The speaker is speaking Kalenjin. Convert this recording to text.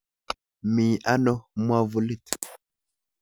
Mi ano mwavulit?